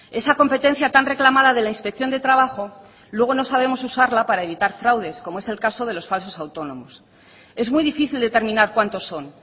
esa competencia tan reclamada de la inspección de trabajo luego no sabemos usarla para evitar fraudes como es el caso de los falsos autónomos es muy difícil determinar cuantos son